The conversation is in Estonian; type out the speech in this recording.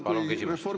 Palun küsimust!